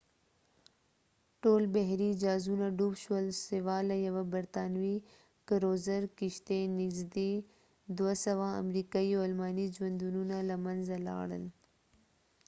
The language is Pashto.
ټول بحري جازونه ډوب شول سوا له یوه برطانوي کروزر کشتۍ نږدې 200 امریکايي او الماني ژوندونونه له منځه لاړل